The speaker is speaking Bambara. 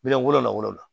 Miliyɔn wolonwula ni wolo